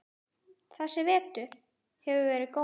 Þessi vetur hefur verið góður.